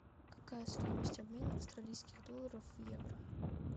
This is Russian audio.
какая стоимость обмена австралийских долларов в евро